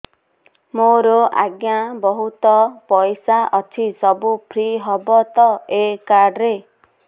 ମୋର ଆଜ୍ଞା ବହୁତ ପଇସା ଅଛି ସବୁ ଫ୍ରି ହବ ତ ଏ କାର୍ଡ ରେ